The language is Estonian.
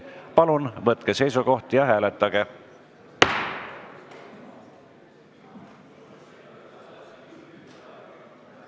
Palun võtke seisukoht ja hääletage!